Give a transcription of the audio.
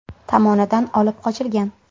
tomonidan olib qochilgan.